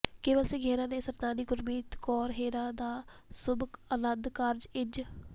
ਕੇਵਲ ਸਿੰਘ ਹੇਰਾਂ ਤੇ ਸਰਦਾਰਨੀ ਗੁਰਮੀਤ ਕੌਰ ਹੇਰਾਂ ਦਾ ਸ਼ੁਭ ਅਨੰਦ ਕਾਰਜ ਇੰਜ